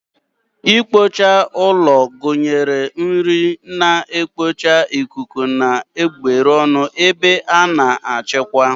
Ikpocha ụlọ gụnyere nri na-ekpocha ikuku na gburugburu ebe a na-achịkwa.